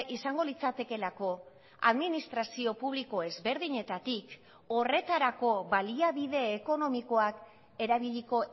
izango litzatekeelako administrazio publiko ezberdinetatik horretarako baliabide ekonomikoak erabiliko